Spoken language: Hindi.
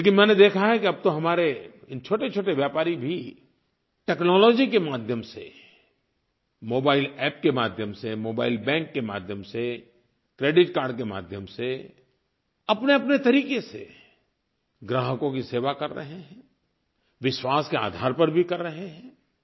लेकिन मैंने देखा है कि अब तो हमारे इन छोटेछोटे व्यापारी भी टेक्नोलॉजी के माध्यम से मोबाइल अप्प के माध्यम से मोबाइल बैंक के माध्यम से क्रेडिट कार्ड के माध्यम से अपनेअपने तरीक़े से ग्राहकों की सेवा कर रहे हैं विश्वास के आधार पर भी कर रहे हैं